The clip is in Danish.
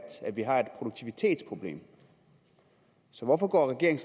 at vi har et produktivitetsproblem så hvorfor går regeringen